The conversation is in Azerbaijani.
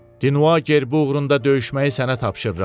Dinua gerbi uğrunda döyüşməyi sənə tapşırıram.